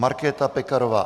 Markéta Pekarová